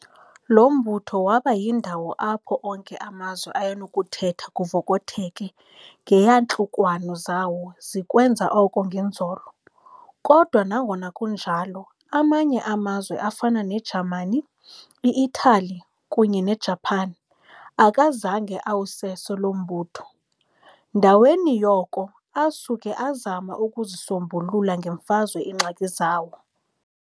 Lo mbutho waba yindawo apho onke amazwe ayenokuthetha kuvokotheke ngeeyantlukwano zawo zikwenza oko ngenzolo. kodwa nangona kunjalo amanye amazwe afana neJamani, i-Italy kunye nei-Japan, akazange awuseso lo mbutho, ndaweni yoko asuka azama ukuzisombulula ngeMfazwe iingxaki zawo.